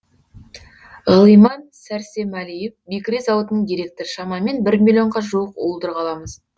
ғилыман сәрсемәлиев бекіре зауытының директоры шамамен бір миллионға жуық уылдырық аламыз